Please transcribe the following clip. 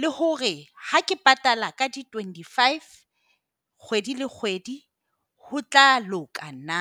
le hore ha ke patala ka di twenty five kgwedi le kgwedi ho tla loka na?